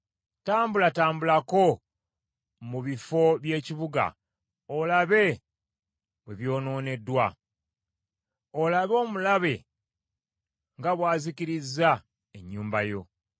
Tambulatambulako mu bifo by’ekibuga olabe bwe byonooneddwa! Olabe omulabe nga bw’azikirizza ennyumba yo.